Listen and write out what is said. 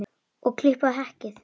Og klippa hekkið?